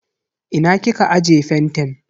Ina kika aje fentin.